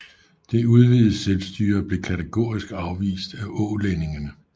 Det udvidede selvstyre blev kategorisk afvist af ålændingene